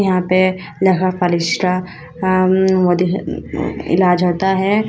यहां पे लकवा फलिस का इलाज होता है।